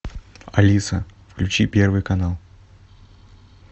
алиса включи первый канал